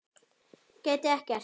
Gæti ekkert.